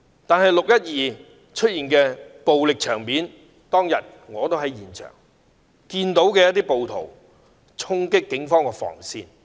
可是，在"六一二"出現的暴力場面，我當天也在現場，我看到一些暴徒衝擊警方防線。